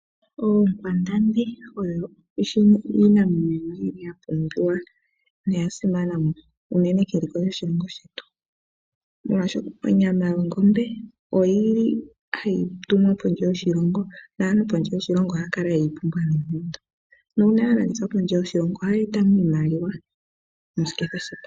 Oonkwandambi, oyo iinamwenyo yili yapumbiwa noyasimana uunene keliko lyoshilongo shetu. Molwasho onyama yongombe oyili hayi tumwa pondje yoshilongo naantu pondje yoshilongo ohayakala yeyipumbwa noonkondo. Nuuna halandithwa pondje yoshilongo ohayeetamo iimaliwa moshiketha shepangelo.